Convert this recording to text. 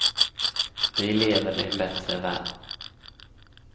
Vi lever i en bättre värld.